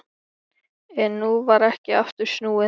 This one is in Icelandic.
En nú var ekki aftur snúið.